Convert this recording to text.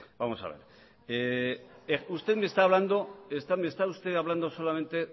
vamos a ver usted me está hablando solamente